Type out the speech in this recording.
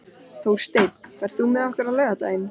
Þórsteinn, ferð þú með okkur á laugardaginn?